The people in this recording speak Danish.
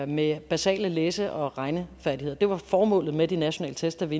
med basale læse og regnefærdigheder det var formålet med de nationale test da vi